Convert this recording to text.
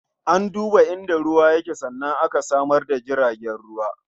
An duba inda ruwa yake sannan aka samar da tasha jaragen ruwa.